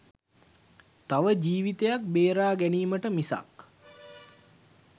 තව ජීවිතයක් බේරා ගැනීමට මිසක්